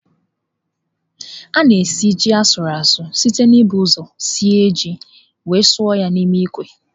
A na esi ji asuruasu site n'ibu ụzọ sie ji wee suo ya n'ime ikwe.